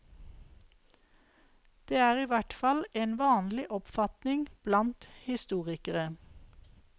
Det er i hvert fall en vanlig oppfatning blant historikere.